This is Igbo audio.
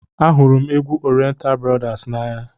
Ahụrụ m égwu oriental brothers n'anya.